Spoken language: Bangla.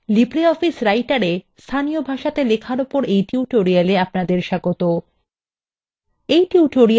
নমস্কারlibreoffice writer এ স্থানীয় ভাষাতে লেখার ওপর এই tutorial এ আপনাকে স্বাগত